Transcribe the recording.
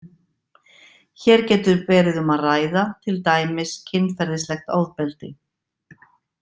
Hér getur verið um að ræða til dæmis kynferðislegt ofbeldi.